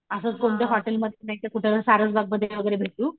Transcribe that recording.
असंच कोणतं हॉटेलमध्ये नाहीतर कुठं सारसबागमध्ये भेटू.